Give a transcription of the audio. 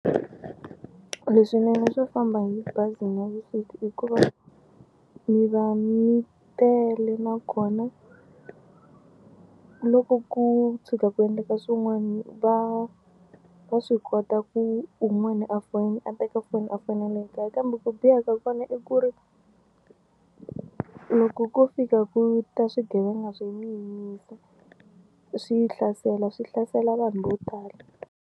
Leswinene swo famba hi bazi navusiku i ku va mi va mi tele nakona loko ku tshuka ku endleka swin'wana va va swi kota ku un'wani a a teka foni a fonele ekaya kambe ku biha ka kona i ku ri loko ko fika ku ta swigevenga swi mi yimisa swi yi hlasela swi hlasela vanhu vo tala.